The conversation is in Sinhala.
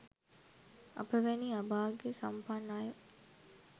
අප වැනි අභාග්‍ය සම්පන්න අය